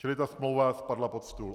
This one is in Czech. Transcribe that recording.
Čili ta smlouva spadla pod stůl.